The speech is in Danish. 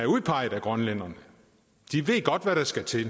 udpeget af grønlænderne de ved godt hvad der skal til